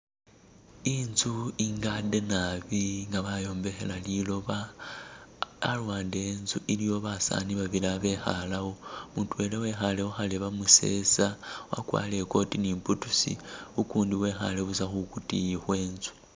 Inzu eggade naabi nga bayombekhela liloba aluwande we'nzu iliwo basani bali abekhalawo mutwela wekhale khukharebe musesa wakwarile i'coat in boots ukundi wekhale buusa khukutiyi khwenzu